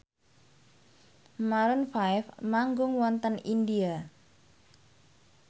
Maroon 5 manggung wonten India